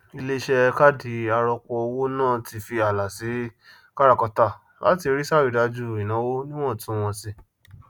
iléiṣẹ káàdì arọpọ owó náà tí fí ààlà sí káràkátà láti rí sàrídájú ìnáwó níwàntúnwànsí